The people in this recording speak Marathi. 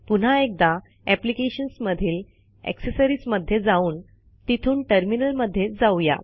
पुन्हा एकदा अॅप्लिकेशन्समधील अॅक्सेसरिजमध्ये जाऊन तिथून टर्मिनलमध्ये जाऊ या